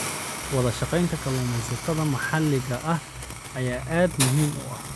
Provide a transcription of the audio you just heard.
Wadashaqeynta kalluumeysatada maxalliga ah ayaa aad muhiim u ah.